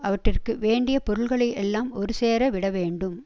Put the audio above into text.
அவற்றிற்கு வேண்டிய பொருள்களை எல்லாம் ஒரு சேர விட வேண்டும்